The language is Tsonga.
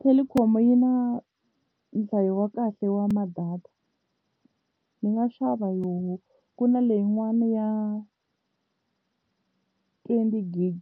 Telkom yi na nhlayo wa kahle wa ma-data ndzi nga xava yo ku na leyin'wana ya twenty gig